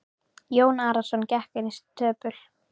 Jón Arason gekk inn í stöpul.